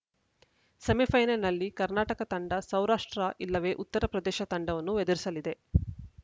ಸೆಮಿಫೈನಲ್‌ನಲ್ಲಿ ಕರ್ನಾಟಕ ತಂಡ ಸೌರಾಷ್ಟ್ರ ಇಲ್ಲವೇ ಉತ್ತರ ಪ್ರದೇಶ ತಂಡವನ್ನು ಎದುರಿಸಲಿದೆ